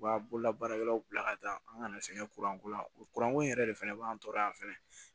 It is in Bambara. U b'a bolola baarakɛlaw bila ka taa an kana sɛgɛn kurako la kuranko in yɛrɛ de fana b'an tɔɔrɔ yan fɛnɛ